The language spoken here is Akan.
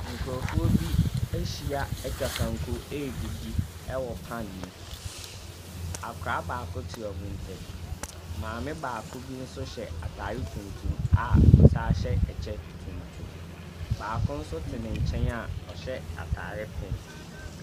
Nkrɔfoɔ bi ahyia atwa kanko adidi ɛwɔ paen mu. Akɔlaa baako ɛte wɔnmo ntam. Maame baako nso hyɛ ataare tuntum a ɔsan hyɛ ɛkyɛ tuntum. Baako nso t n'enkyɛn a ɔhyɛ ataare pink.